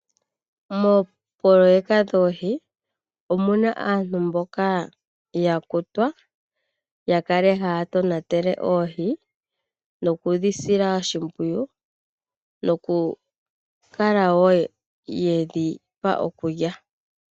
Moopoloeka dhoohi omuna aantu mboka yakutwa yakale haya tonatele oohi nokudhi sila oshimpwiyu , nokukala wo yedhipa okulya.